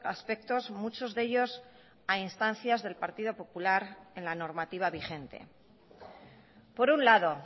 aspectos muchos de ellos a instancias del partido popular en la normativa vigente por un lado